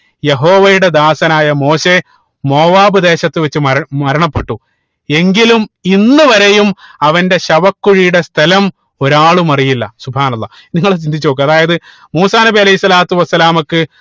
യഹോവയുടെ ദാസനായ മോശയെ മോവ്വാപ് ദേശത്ത് വെച്ച് മരണ മരണപ്പെട്ടു എങ്കിലും ഇന്ന് വരെയും അവന്റെ ശവകുഴിയുടെ സ്ഥലം ഒരാളും അറിയില്ല അള്ളാഹ് നിങ്ങൾ ചിന്തിച്ച് നോക്ക അതായത് മൂസാ നബി അലൈഹി സ്വലാത്തു വസ്സലാമക്ക്